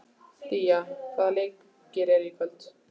Día, hvaða leikir eru í kvöld?